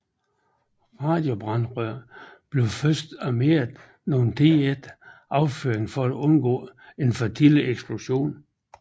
Radiobrandrøret blev først armeret nogen tid efter affyringen for at undgå en for tidlig eksplosion